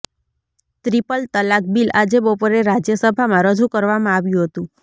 triple તલાક bill આજે બપોરે રાજ્યસભામાં રજુ કરવામાં આવ્યું હતું